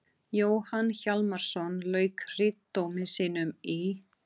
Jóhann Hjálmarsson lauk ritdómi sínum í